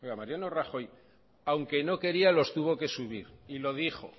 mariano rajoy aunque no quería los tuvo que subir y lo dijo